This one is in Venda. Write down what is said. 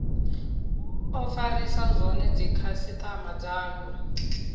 o farisa zwone dzikhasitama dzayo